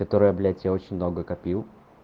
которая блять я очень долго копил